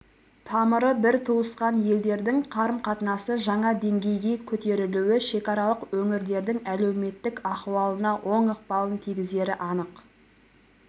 тамыры бір туысқан елдердің қарым-қатынасы жаңа деңгейге көтерілуі шекаралық өңірлердің әлеуметтік ахуалына оң ықпалын тигізері анық